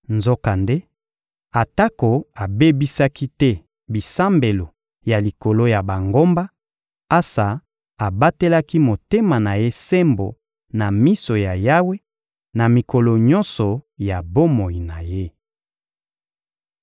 Nzokande, atako abebisaki te bisambelo ya likolo ya bangomba, Asa abatelaki motema na ye sembo na miso ya Yawe, na mikolo nyonso ya bomoi na ye.